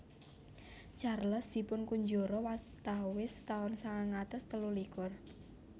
Charles dipunkunjara watawis taun sangang atus telu likur